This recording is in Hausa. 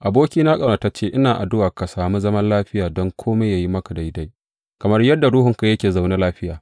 Abokina ƙaunatacce, ina addu’a ka sami zaman lafiya don kome yă yi maka daidai, kamar yadda ruhunka yake zaune lafiya.